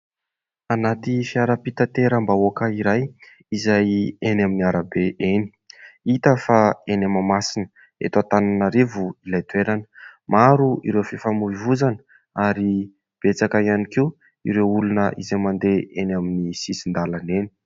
Anaty fiarampitanteram-bahoaka iray izay eny amin'ny arabe eny. Hita fa eny Mahamasina eto Antananarivo ilay toerana. Maro ireo fifamoivoizana ary betsaka ihany koa ireo olona izay mandeha eny amin'ny sisin-dalana eny.